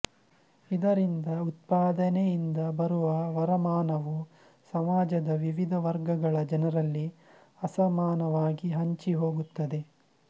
ಇದರಿಂದ ಉತ್ಪಾದನೆಯಿಂದ ಬರುವ ವರಮಾನವು ಸಮಾಜದ ವಿವಿಧ ವರ್ಗಗಳ ಜನರಲ್ಲಿ ಅಸಮಾನವಾಗಿ ಹಂಚಿಹೋಗುತ್ತದೆ